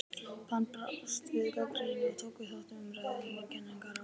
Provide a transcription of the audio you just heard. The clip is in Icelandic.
Hann brást við gagnrýni og tók þátt í umræðu um eigin kenningar á langri starfsævi.